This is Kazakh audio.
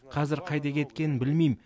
қазір қайда кеткенін білмим